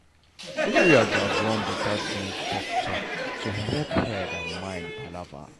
area gatz run better sense talk-talk to helep head and mind palava